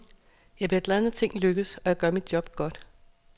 Jeg bliver glad når ting lykkes, og jeg gør mit job godt.